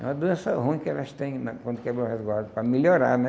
É uma doença ruim que elas têm na quando quebram o resguardo, para melhorar, né?